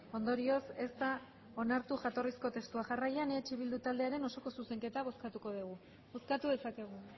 ondorioz ez da onartu jatorrizko testua jarraian eh bildu taldearen osoko zuzenketa bozkatu dugu bozkatu dezakegu